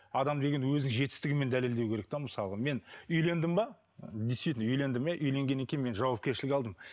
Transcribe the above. адам деген өзінің жетістігімен дәлелдеу керек те мысалға мен үйлендім бе действительно үйлендім иә үйленгеннен кейін мен жауапкершілік алдым